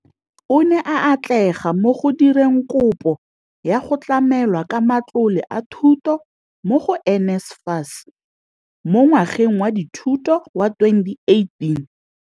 O ne a atlega mo go direng kopo ya go tlamelwa ka matlole a dithuto mo go NSFAS mo ngwageng wa dithuto wa 2018.